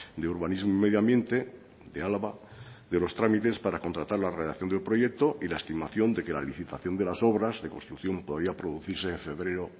de urbanismo y medio ambiente de álava de los trámites para contratar la redacción del proyecto y la estimación de que la licitación de las obras de construcción podría producirse en febrero